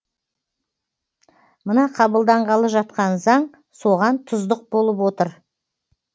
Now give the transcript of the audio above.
мына қабылданғалы жатқан заң соған тұздық болып отыр